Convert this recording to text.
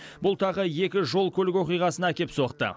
бұл тағы екі жол көлік оқиғасына әкеп соқты